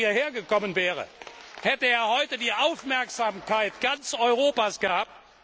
Wenn er heute hierher gekommen wäre, hätte er die Aufmerksamkeit ganz Europas gehabt.